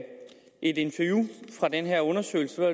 interview fra den her undersøgelse